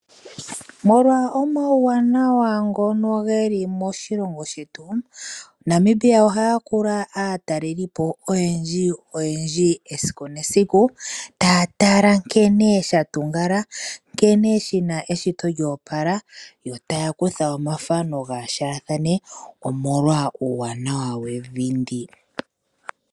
Molwa omauwanawa ngono geli moshilongo shetu, Namibia oha yakula aatalelipo oyendji esiku nesiku, taya tala nkene sha tungala, nkene shina eshito lya opala yo taya kutha omathano gaashathane omolwa uuwanawa wevi ndi.